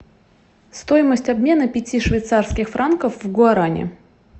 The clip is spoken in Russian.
стоимость обмена пяти швейцарских франков в гуарани